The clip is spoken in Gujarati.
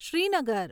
શ્રીનગર